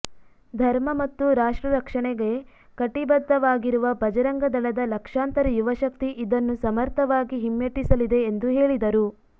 ಧರ್ಮ ಮತ್ತು ರಾಷ್ಟ್ರ ರಕ್ಷಣೆಗೆ ಕಟಿಬದ್ಧವಾಗಿರುವ ಬಜರಂಗ ದಳದ ಲಕ್ಷಾಂತರ ಯುವಶಕ್ತಿ ಇದನ್ನು ಸಮರ್ಥವಾಗಿ ಹಿಮ್ಮೆಟ್ಟಿಸಲಿದೆ ಎಂದು ಹೇಳಿದರು